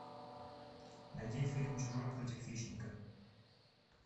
найди фильм чужой против хищника